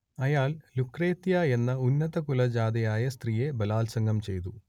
അയാൾ ലുക്രേത്തിയ എന്ന ഉന്നതകുലജാതയായ സ്ത്രീയെ ബലാത്സംഗം ചെയ്തു